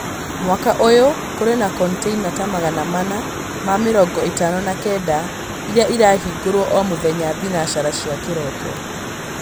Mwaka ũyũ kũrĩ na kontĩina ta magana mana ma mĩrongo ĩtano na kenda, iria irahingũrwo o mũthenya thinacara cia kĩroko